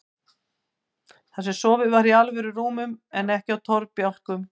Þar sem sofið var í alvöru rúmum en ekki á torfbálkum.